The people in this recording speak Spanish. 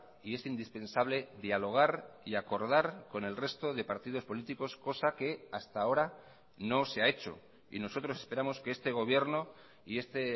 y es indispensable dialogar y acordar con el resto de partidos políticos cosa que hasta ahora no se ha hecho y nosotros esperamos que este gobierno y este